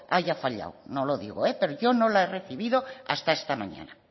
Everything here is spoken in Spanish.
haya fallado no lo digo pero yo no la he recibido hasta esta mañana